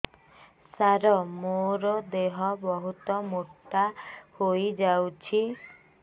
ସାର ମୋର ଦେହ ବହୁତ ମୋଟା ହୋଇଯାଉଛି